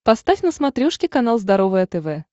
поставь на смотрешке канал здоровое тв